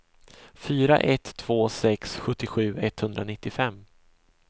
fyra ett två sex sjuttiosju etthundranittiofem